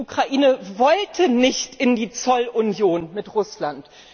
Die Ukraine wollte nicht in die Zollunion mit Russland.